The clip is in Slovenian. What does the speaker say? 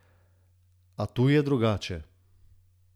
A tu je drugače.